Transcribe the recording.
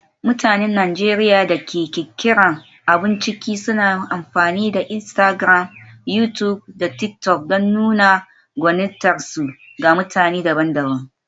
Mutanen Najeriya da ke ƙirƙirar abun ciki suna amfani da Instagram, YouTube, da TikTok don nuna gwanintarsu ga mutane daban-daban.